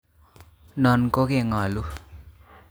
Non kokengolu